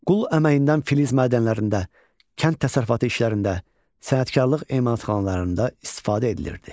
Qul əməyindən filiz mədənlərində, kənd təsərrüfatı işlərində, sənətkarlıq emalatxanalarında istifadə edilirdi.